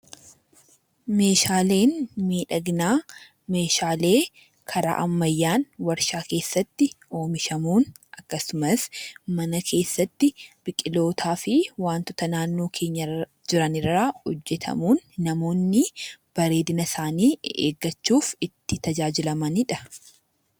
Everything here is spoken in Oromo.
Meeshaleen miidhaginaa meeshaalee karaa ammayyaa waarshaa keessaatti oomishamuun akkasumas mana keessatti biqiloota fi wantoota naannoo keenyarra jiran irraa hojjatamun namoonni bareedina isaani eeggachuuf itti tajaajilamanidha.